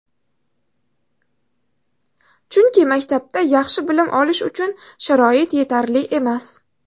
Chunki maktabda yaxshi bilim olish uchun sharoit yetarli emas.